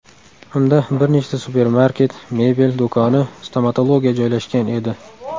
Unda bir nechta supermarket, mebel do‘koni, stomatologiya joylashgan edi.